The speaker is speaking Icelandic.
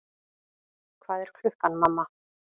Hvað er klukkan, mamma?